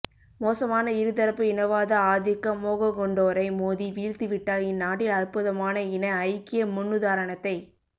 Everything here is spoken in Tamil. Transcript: மோசமான இரு தரப்பு இனவாத ஆதிக்க மோகங்கொண்டோரை மோதி வீழ்த்திவிட்டால் இந்நாட்டில் அற்புதமான இன ஐக்கிய முன்னுதாரணத்தைக்